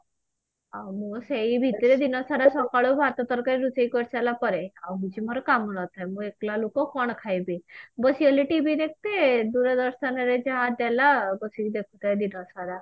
ଆଉ ମୁଁ ସେଇ ଭିତରେ ଦିନ ସାରା ସକାଳୁ ଭାତ ତରକାରୀ ରୋଷେଇ କରିସାରିଲା ପରେ ଆଉ କିଛି ମୋର କାମ ନଥାଏ ମୁଁ ଏକଲା ଲୋକ କଣ ଖାଇବି ବସିଏଲେ TV ଦେଖିତେ ଦୂରଦର୍ଶନ ରେ ଯାହା ଦେଲା ଆଉ ବସିକି ଦେଖୁଥାଏ ଦିନ ସାରା